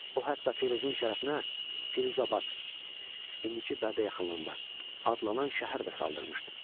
O hətta Firuzun şərəfinə Firuzabad (indiki Bərdə yaxınlığında) adlanan şəhər də saldırmışdı.